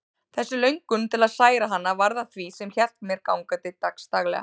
Þessi löngun til að særa hana varð að því sem hélt mér gangandi dagsdaglega.